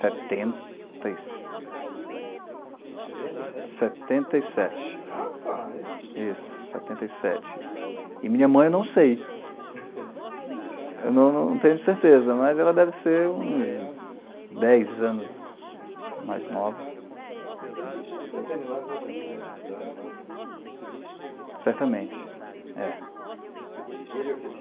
setenta e setenta sete setenta e sete rapaz isso, setenta e sete e minha mãe eu não sei eu não não tenho certeza, mas ela deve ser uns dez anos mais nova então deve ser um dos veterinários mais antigos da atividade lá certamente é. E ele é o que?